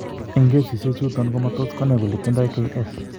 En kesiisyek chuuton, komatoos konay kole tindo KS.